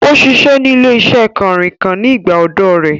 Ó ṣiṣẹ́ ní ilé-iṣẹ́ kànrìnkàn ní ìgbà ọ̀dọ́ ọ rẹ̀